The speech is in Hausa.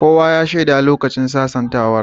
Kowa ya shaida lokacin sasantawar.